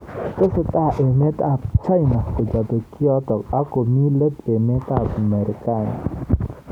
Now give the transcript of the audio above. Tesetai emet ab China kochobei kiotok ak komi let emet ab Marekani.